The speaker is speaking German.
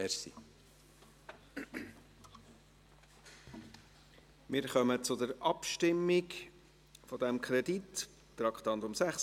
Wir kommen zur Abstimmung über diesen Kredit, Traktandum 36.